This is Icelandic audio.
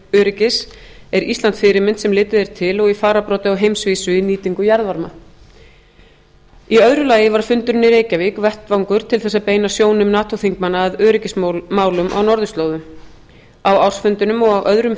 orkuöryggis er ísland fyrirmynd sem litið er til og í fararbroddi á heimsvísu í nýtingu jarðvarma í öðru lagi var fundurinn í reykjavík vettvangur til þess að beina sjónum nato þingmanna að öryggismálum á norðurslóðum á ársfundinum og á öðrum